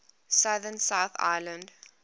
southern south island